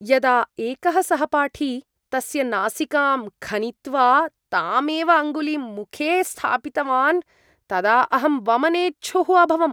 यदा एकः सहपाठी तस्य नासिकां खनित्वा तामेव अङ्गुलीं मुखे स्थापितवान् तदा अहं वमनेच्छुः अभवम्।